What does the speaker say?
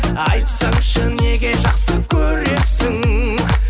айтсаңшы неге жақсы көресің